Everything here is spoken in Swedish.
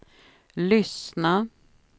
lyssna